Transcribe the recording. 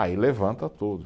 Aí levanta todo.